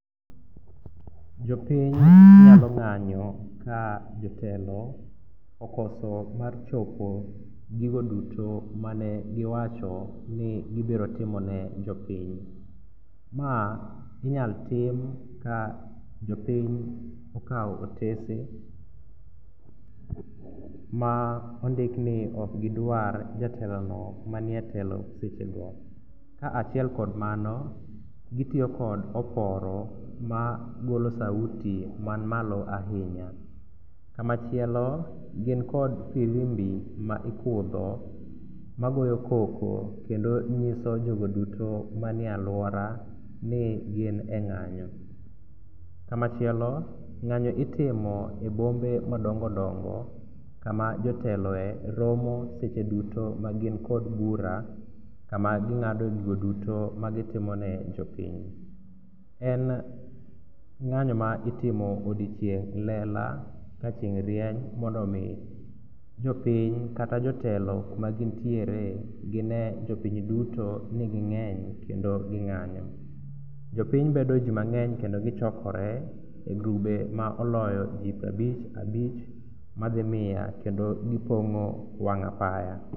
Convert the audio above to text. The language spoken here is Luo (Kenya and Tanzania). Jopiny nyalo ng'anyo ka jotelo okoso mar chopo gigo duto manegiwacho ni gibirotimone jopiny. Ma inyal tim ka jopiny okawo otese ma ondikni okgidwar jatelono manie telo sechego. Kaachiel kod mano gitiyo kod oporo magolo sauti manmalo ahinya. Kamachielo gin kod firimbi ma ikudho magogyo koko kendo nyiso jogo duto mane alwora ni gin e ng'anyo. Kamachielo ng'anyo itimo e bombe madongodongo kama joteloe romo seche duto magin kod bura kama ging'ado gigo duto magitimone jopiny. En ng'anyo ma itimo odiechieng' lela ka chieng' rieny mondo omi jopiny kata jotelo kumagintiere gine jopiny duto ni ging'eny kendo ni ging'anyo. Jopiny bedo ji mang'eny kendo gichokore e grube ma oloyo ji prabich abich madhi miya kendo gipong'o wang' apaya.